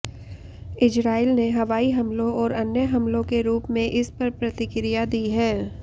Israel ने हवाई हमलों और अन्य हमलों के रूप में इसपर प्रतिक्रिया दी है